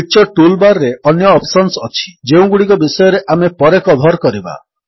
picture tool bar ରେ ଅନ୍ୟ options ଅଛି ଯେଉଁଗୁଡ଼ିକ ବିଷୟରେ ଆମେ ପରେ କଭର୍ କରିବା